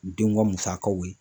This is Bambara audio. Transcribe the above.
U denw ka musakaw ye